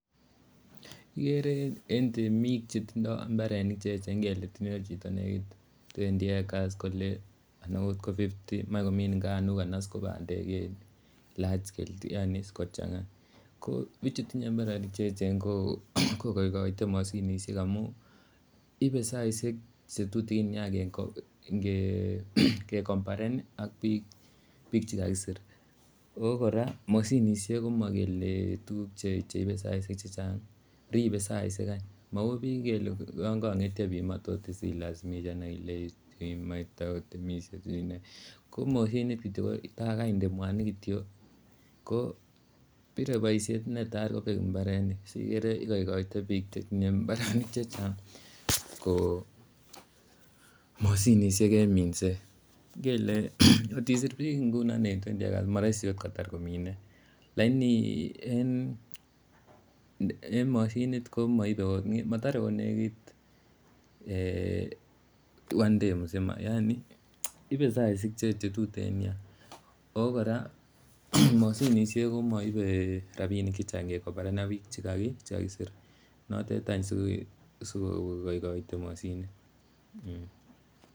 Igere en temik chetindoi mbarenik che echen ngele tinye chito negit twendi acres kole anan agot ko fifty moe komin ngamunk anas ko bandek en large scale yaani iss kochang'a ko bcichut tinye mbarenik che eechen ko igoigoite moshinishek amun ibe saishek che tutikin ingecompearen ak bik che kakisir. Ago kora moshinishek komokele tuguk che ibe saishek che chang ribe saishek any mau biik ngele yon kong'etyo biik komotot ilasimisan ak ilei imae kotokakotemis ko moshinit kityo ko ta koinde mwanik kityo ko bire boisiet ta kobek mbarenik sikere igoigoite biik mbarenik chetinye mbarenik che chang ko moshiishek en minset. Ngele kot isir biik ngunon en twendi acres komooroisi ot kotar komine lakini en moshinit ko moibe ot motore ot negit one day mzima yani ibe saishek che tuten nyaa, ago kora moshinishek komoibe rabinik chechang ingecompearen ak biik che kakisir, notet any sikokoikoiti moshinit.